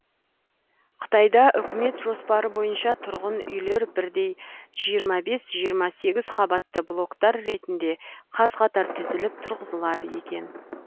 қытайда үкімет жоспары бойынша тұрғын үйлер бірдей жиырма бес жиырма сегізінші қабатты блогтар ретінде қаз қатар тізіліп тұрғызылады екен